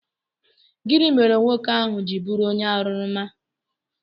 Gịnị mere nwoke ahụ ji bụrụ onye aṅụrụma?